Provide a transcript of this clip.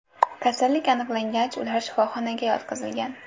Kasallik aniqlangach, ular shifoxonaga yotqizilgan.